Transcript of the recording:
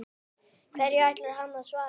Hverju ætlar hann að svara?